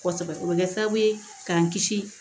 Kosɛbɛ o bɛ kɛ sababu ye k'an kisi